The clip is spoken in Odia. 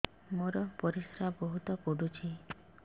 ମୋର ପରିସ୍ରା ବହୁତ ପୁଡୁଚି